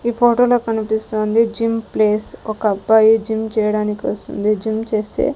ఈ ఫోటో లో కనిపిస్తూ ఉంది జిమ్ ప్లేస్ ఒక అబ్బాయి జిమ్ చేయడానికి వస్తుంది జిమ్ చేస్తే--